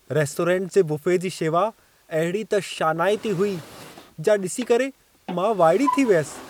Restaurant जे buffet जी शेवा अहिड़ी त शानाइती हुई, जा ॾिसी करे मां वाइड़ी थी वियसि।